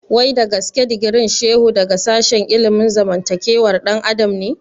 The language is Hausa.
Wai dagaske digirin Shehu daga sashen ilimin zamantakewar ɗan adam ne?